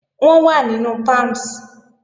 Wọ́n wà nínú Palms